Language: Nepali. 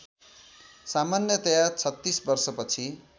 सामन्यतया ३६ वर्षपछि